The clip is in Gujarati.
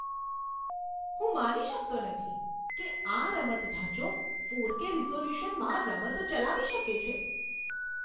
હું માની શકતો નથી કે આ રમત ઢાંચો ફોરકે રિઝોલ્યુશનમાં રમતો ચલાવી શકે છે.